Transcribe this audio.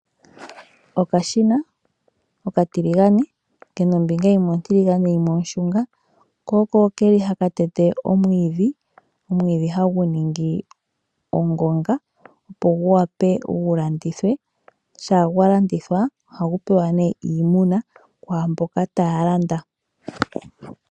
Okashina okatiligane kena ombinga yimwe ontiligane yimwe onshunga ko oko keli haka tete omwiidhi, omwiidhi hagu ningi ongonga opo gu wape gu landithwe sha gwa landitha ohagu pewa iimuna kwa mboka taya landa.